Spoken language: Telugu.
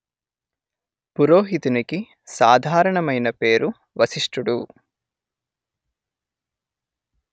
పురోహితునికి సాధారణమైన పేరు వశిష్ఠుడు